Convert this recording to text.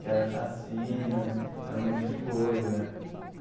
Que era chacinas, era um monte de coisa.